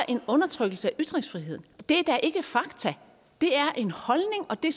en undertrykkelse af ytringsfriheden det er da ikke fakta det er en holdning og det